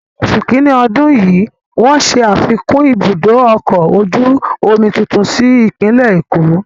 Ni oṣù kiní ọdún yìí, wọ́n ṣe afikún ibùdó ọkọ̀ ojú omi tuntun sí ìpínlẹ̀ Èkó.